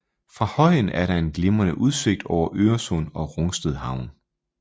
Fra højen er der en glimrende udsigt over Øresund og Rungsted Havn